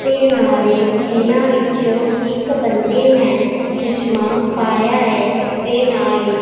ਤੇ ਨਾਲੇ ਇਹਨਾਂ ਵਿੱਚੋਂ ਇੱਕ ਬੰਦੇ ਨੇ ਚਸ਼ਮਾ ਪਾਇਆ ਹੈ ਤੇ ਨਾਲੇ --